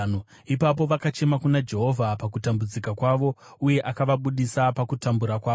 Ipapo vakachema kuna Jehovha pakutambudzika kwavo, uye akavabudisa pakutambura kwavo.